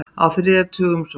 Á þriðja tug umsókna